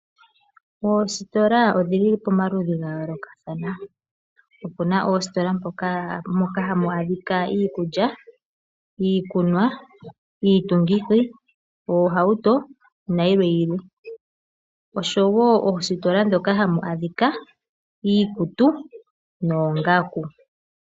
Oosirola odhi li pamaludhi ga yoolokathana. Opu na oositola moka ha mu adhika iikulya, iikulya, iikunwa, oohauto, nayilwe yilwe. Opu na wo oositola ndhoka ha mu adhika iikutu noongaku.